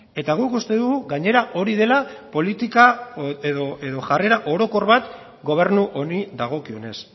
eta guk uste dugu gainera hori dela politika edo jarrera orokor bat gobernu honi dagokionez